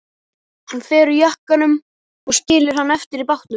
Hann fer úr jakkanum og skilur hann eftir í bátnum.